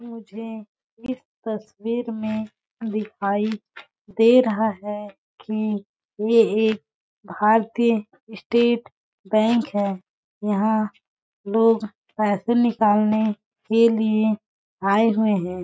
मुझे इस तस्वीर में दिखाई दे रहा है कि ये एक भारतीय स्टेट बैंक है यहां लोग पैसे निकालने के लिए आए हुए हैं।